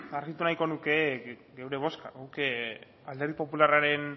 argitu nahiko nuke geure bozka guk alderdi popularraren